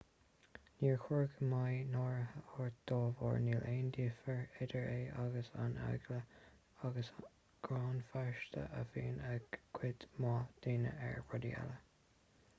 níor chóir go mbeidh náire ort dá bharr níl aon difear idir é agus an eagla agus gráin phearsanta a bhíonn ag cuid mhaith daoine ar rudaí eile